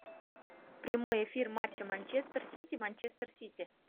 прямой эфир матча манчестер сити манчестер сити